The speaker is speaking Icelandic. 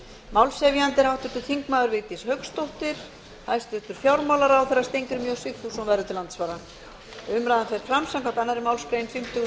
málshefjandi er háttvirtur þingmaður vigdís hauksdóttir hæstvirtur fjármálaráðherra steingrímur j sigfússon verður til andsvara umræðan fer fram samkvæmt annarri málsgrein fimmtugustu